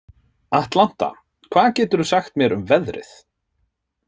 Atlanta, hvað geturðu sagt mér um veðrið?